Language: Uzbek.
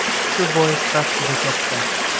Shu bois xavf juda katta.